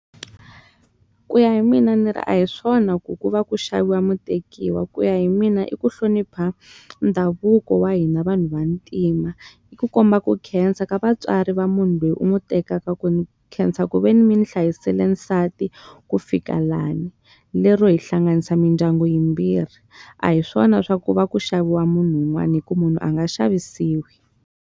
Ku ya hi mina ni ri a hi swona ku ku va ku xaviwa mutekiwa, ku ya hi mina i ku hlonipha ndhavuko wa hina vanhu vantima. I ku komba ku khensa ka vatswari va munhu loyi u n'wi tekaka, ku ni khensa ku ve ni mi ni hlayisele nsati ku fika lani lero hi hlanganisa mindyangu yimbirhi. A hi swona swa ku va ku xaviwa munhu un'wana hikuva munhu a nga xavisiwi.